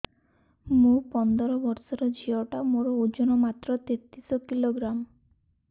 ମୁ ପନ୍ଦର ବର୍ଷ ର ଝିଅ ଟା ମୋର ଓଜନ ମାତ୍ର ତେତିଶ କିଲୋଗ୍ରାମ